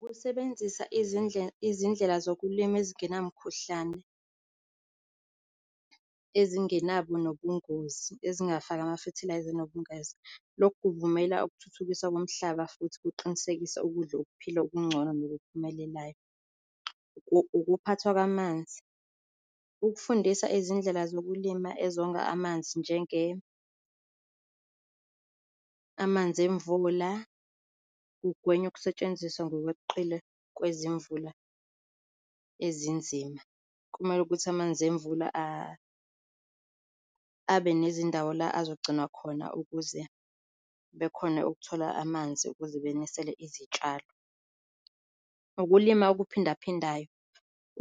Ukusebenzisa izindlela zokulima ezingena mkhuhlane ezingenabo nobungozi ezingafaki amafethelayizi anobungozi, lokhu kuvumela ukuthuthukisa komhlaba futhi kuqinisekisa ukudla okuphila okungcono nokuphumelelayo. Ukuphathwa kwamanzi, ukufundisa izindlela zokulima ezonga amanzi amanzi emvula kugwenywe ukusetshenziswa ngokweqile kwezimvula ezinzima. Kumele ukuthi amanzi emvula abe nezindawo la azogcinwa khona ukuze bekhone ukuthola amanzi ukuze benisele izitshalo. Ukulima okuphindaphindayo.